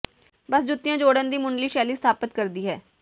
ਬਸ ਜੁੱਤੀਆਂ ਜੋੜਨ ਦੀ ਮੁੱਢਲੀ ਸ਼ੈਲੀ ਸਥਾਪਤ ਕਰਦੀ ਹੈ